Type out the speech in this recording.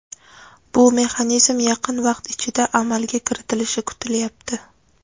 bu mexanizm yaqin vaqt ichida amalga kiritilishi kutilyapti.